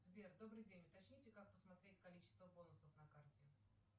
сбер добрый день уточните как посмотреть количество бонусов на карте